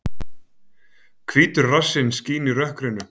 Hvítur rassinn skín í rökkrinu.